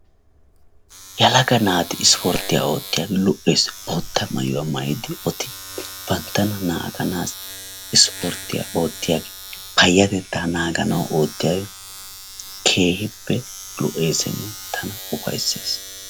Yelagga naatti ispporttiyaa oottiyogge lo"es bootta maayuwa mayiddi banttana naganawu issporttiya oottiyagge gispporttiyaa oottiyagge payattetta naaganawu oottiyagge keehippe lo'essinne tana ufaysses.